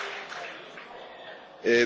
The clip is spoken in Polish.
Panie Przewodniczący!